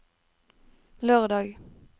lørdag